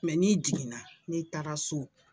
Mɛ n'i jiginna, n'i taara so,